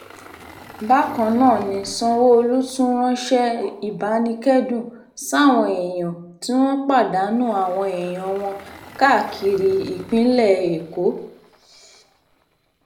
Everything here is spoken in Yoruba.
bákan náà ni sanwó-olu tún ránṣẹ́ ìbánikẹ́dùn sáwọn èèyàn tí wọ́n pàdánù àwọn èèyàn wọn káàkiri ìpínlẹ̀ èkó